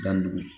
Danni